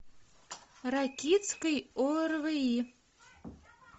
ракитский орви